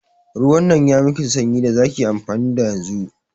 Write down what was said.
Ruwan nan yayi miki sanyi da zaki amfani da yanzu.